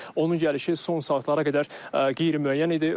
Onun gəlişi son saatlara qədər qeyri-müəyyən idi.